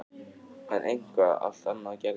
En eitthvað allt annað gerðist.